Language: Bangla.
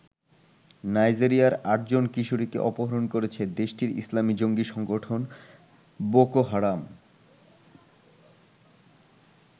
নাইজেরিয়ার আটজন কিশোরীকে অপহরণ করেছে দেশটির ইসলামি জঙ্গি সংগঠন বোকো হারাম।